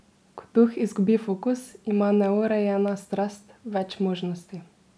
Ko duh izgubi fokus, ima neurejena strast več možnosti.